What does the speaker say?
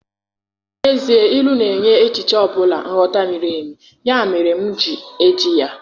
N'ezie, Ilu na-enye echiche ọ bụla nghọta miri emi, ya mere m ji eji ya.